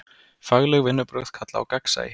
Fagleg vinnubrögð kalla á gagnsæi.